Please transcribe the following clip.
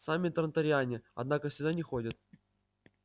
сами транториане однако сюда не ходят